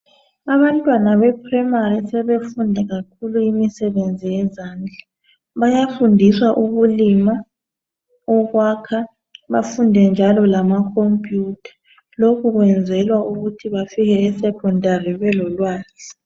Abantwana bephuremari sebefunda kakhulu imisebenzi yezandla. Bayafundiswa ukulima, ukwakha bafunde njalo lamakhompiyutha. Lokhe kwenzelwa ukuthi bafike eSekhondari belolwazi.